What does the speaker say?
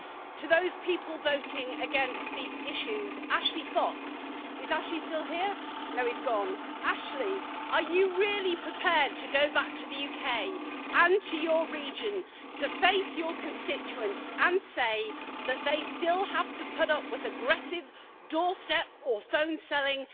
To those people voting against these issues, Ashley Fox is Ashley still here, no he has gone are you really prepared to go back to the UK and to your region to face your constituents and say that they still have to put up with aggressive doorstep or phone selling,